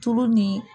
Tulu ni